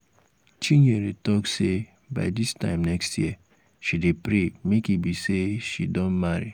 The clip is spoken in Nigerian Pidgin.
chinyere talk say by dis time next year she dey pray make e be say she don marry